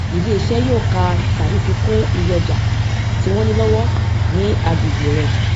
ilé iṣé yóò ka tàbí fi kún iye ọjà tí wón ní lówó ní agbègbè rè